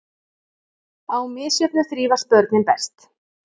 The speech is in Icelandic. Á misjöfnu þrífast börnin best.